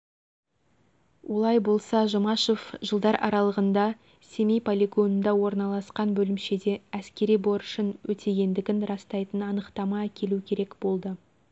олай болса жұмашев жылдар аралығында семей полигонында орналасқан бөлімшеде әскери борышын өтегендігін растайтын анықтама әкелу керек болды